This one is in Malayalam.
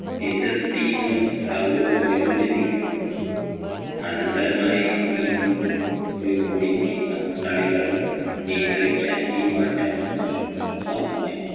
എതിർ team serve point ഉം ലഭിക്കും അനന്തരമായി നീണ്ടു പോയികൊണ്ടിരിക്കുന്ന കളികളിൽ നിയന്ത്രിക്കാൻ ഈ മാറ്റം സാധിച്ചു